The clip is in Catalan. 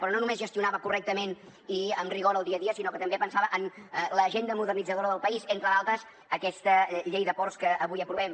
però no només gestionava correctament i amb rigor el dia a dia sinó que també pensava en l’agenda modernitzadora del país entre d’altres aquesta llei de ports que avui aprovem